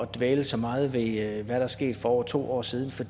dvæle så meget ved hvad der er sket for over to år siden for